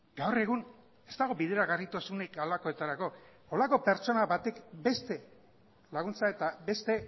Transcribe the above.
gaur egun ez dago bideragarritasunek halakoetarako holako pertsona batek beste laguntza eta beste